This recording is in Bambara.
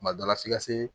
Kuma dɔ la f'i ka se